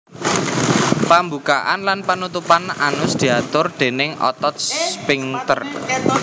Pambukaan lan panutupan anus diatur déning otot sphinkter